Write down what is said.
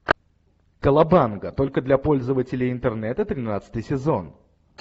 колобанга только для пользователей интернета тринадцатый сезон